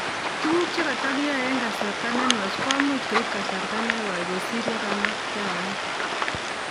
Tukuk che katakiae eng' kasarta nenwach koimuch koip kasarta nekoi kosir yemaktayat